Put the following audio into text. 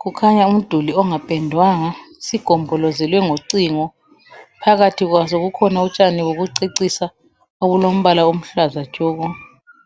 kukhanya umduli ongapendwanga sigombolozelwe ngicingo phakathi kwaso kukhona utshani obucecisa obulombala oluhlaza tshoko.